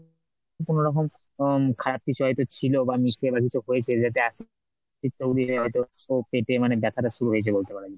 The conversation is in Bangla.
কোন রকম উম খারাপ কিছু হয়তো ছিল বা নিশ্চয়ই এরাম কিছু হয়েছে যেটা পেটে গিয়ে হয়তো পেটে মানে ব্যাথাটা শুরু হয়েছে বলতে পারো।